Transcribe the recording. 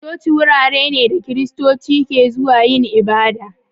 Coci wurare ne da Kiristoci ke zuwa yin ibada.